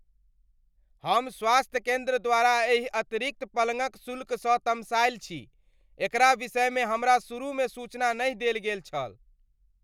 हम स्वास्थ्य केन्द्र द्वारा एहि अतिरिक्त पलंगक शुल्कसँ तमसायल छी, एकरा विषयमे हमरा शुरूमे सूचना नहि देल गेल छल।